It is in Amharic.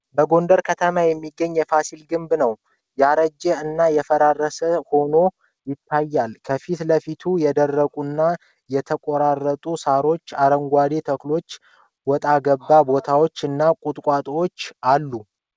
በጎንደር ከተማ የሚገኘው የፋሲል ግንብ ነው። ያረጀ እና የፈራረሰ ሆኖ ይታያል። ከፊት ለፊቱ የደረቁና የተቆራረጡ ሳሮች፣ አረንጓዴ ተክሎች፣ ወጣገባ ቦታ እና ቋጥኞች ይታያሉ።